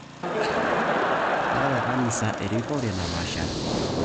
Keeta kanisa erikore napaashari